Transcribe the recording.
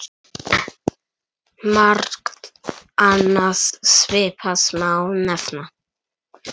Margt annað svipað má nefna.